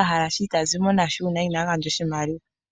a hala oshinima ita zimo nasho ngele ina gandja oshimaliwa.